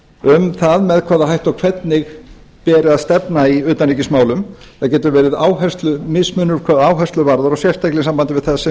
um það með hvaða hætti og hvernig beri að stefna í utanríkismálum það getur verið áherslumismunur hvað áherslur varðar sérstaklega í sambandi við það sem